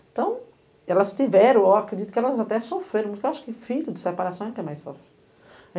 Então, elas tiveram ó, acredito que elas até sofreram, porque eu acho que filho de separação é quem mais sofre.